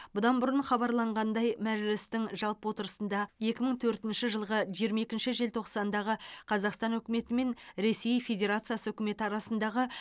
бұдан бұрын хабарланғандай мәжілістің жалпы отырысында екі мың төртінші жылғы жиырма екінші желтоқсандағы қазақстан үкіметі мен ресей федеоациясы үкіметі арасындағы